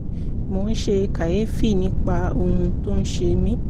mo ń ṣe kàyéfì nípa ohun tó ń ṣe mí